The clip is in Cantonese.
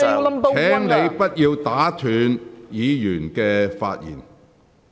區諾軒議員，請不要打斷議員的發言。